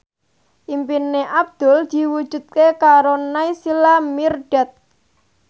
impine Abdul diwujudke karo Naysila Mirdad